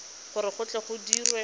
gore go tle go dirwe